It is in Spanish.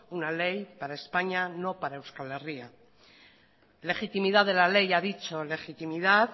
una ley para españa no para euskal herria legitimidad de la ley ha dicho legitimidad